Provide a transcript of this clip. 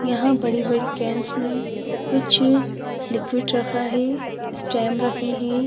यहां बड़ी-बड़ी कैंस में कुछलिक्विड रखा है स्टैम रखे हैं।